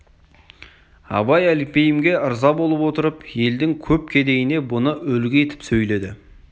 абай әлпейімге ырза болып отырып елдің көп кедейіне бұны үлгі етіп сөйледі